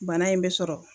Bana in bɛ sɔrɔ